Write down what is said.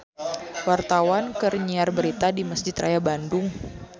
Wartawan keur nyiar berita di Mesjid Raya Bandung